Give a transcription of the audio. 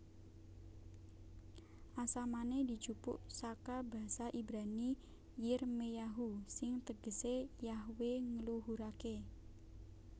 Asamané dijupuk saka basa Ibrani Yirmeyahu sing tegesé Yahwe ngluhuraké